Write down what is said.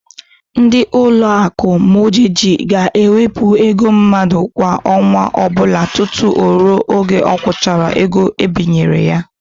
Ndị Ụlọakụ Mọgeji ga na-ewepụ ego mmadụ kwa ọnwa ọbụla tutu ruo mgbe ọ kwụchara ego ebinyere ya.